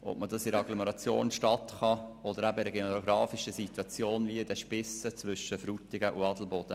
Die Situation in der Agglomeration und in der Stadt ist nicht vergleichbar mit jener der geografischen Lage zwischen Frutigen und Adelboden.